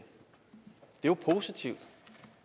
jo positivt